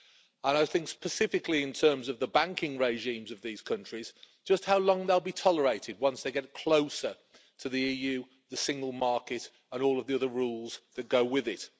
I'm thinking specifically in terms of the banking regimes of these countries just how long they'll be tolerated once they get closer to the EU, the Single Market and all of the other rules that go with it.